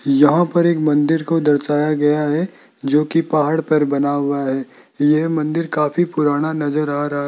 यहां पर एक मंदिर को दर्शाया गया है जो की पहाड़ पर बना हुआ है ये मंदिर काफी पुराना नजर आ रहा है।